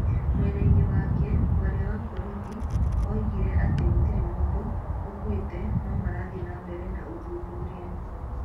Mwena-inĩ wake, mwaria wa borithi oigire atĩ gũtirĩ mũndũ ũkuĩte no marathiĩ na mbere na ũthuthuria.